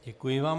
Děkuji vám.